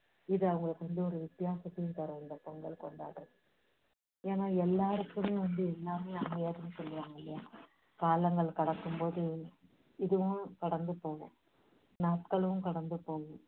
இது அவங்களுக்கு வந்து ஒரு வித்தியாசத்தையு தரும் இந்த பொங்கல் கொண்டாடுறது ஏன்னா எல்லாருக்கும் எல்லாமே அமையாதுன்னு சொல்லுவாங்க இல்லையா? காலங்கள் கடக்கும் போது இதுவும் கடந்து போகும். நாட்களும் கடந்து போகும்.